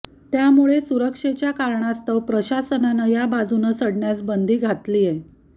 त्यामुळे सुरक्षेच्या कारणास्तव प्रशासनानं या बाजूनं चढण्यास बंदी घातलीय